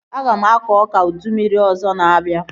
Aga m akọ ọka ụdị mmiri ọzọ na-abịa